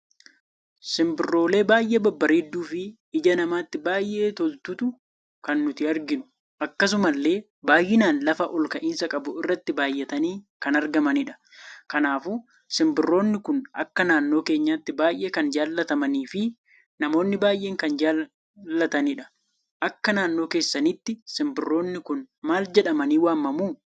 simbirroolee baay'ee babbareeddu fi ija namatti baay'ee toltu kan nuti arginu. Akkasumalle, baay'inaan lafa olka'insa qabu irratti baay'atani kan argamanidha. kanaafuu simbirroonni kun akka naannoo keenyaatti baay'ee kan jaallatamanii fi namoonni baay'een kan jaallatanidha. Akka naannoo keessanitti Simbirroonnikun mal jedhamani waamamu?